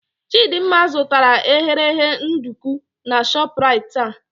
Chidimma zụtara eghereghe nduku na Shoprite taa.